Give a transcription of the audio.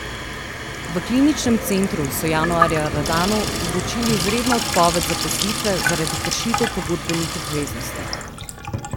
V kliničnem centru so januarja Radanu vročili izredno odpoved zaposlitve zaradi kršitev pogodbenih obveznosti.